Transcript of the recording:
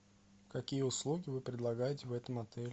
какие услуги вы предлагаете в этом отеле